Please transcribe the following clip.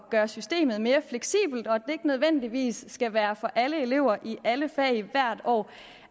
gøre systemet mere fleksibelt og at det ikke nødvendigvis skal være for alle elever i alle fag og hvert år